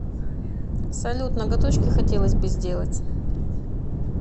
салют ноготочки хотелось бы сделать